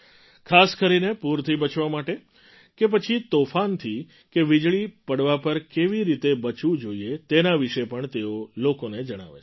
ખાસ કરીને પૂરથી બચવા માટે કે પછી તોફાન કે વીજળી પડવા પર કેવી રીતે બચવું જોઈએ તેના વિશે પણ તેઓ લોકોને જણાવે છે